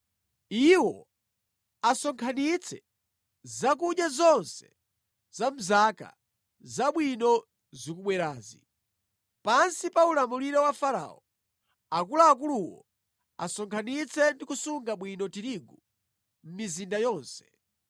Iwo asonkhanitse zakudya zonse za mʼzaka zabwino zikubwerazi. Pansi pa ulamuliro wa Farao, akuluakuluwo asonkhanitse ndi kusunga bwino tirigu mʼmizinda yonse.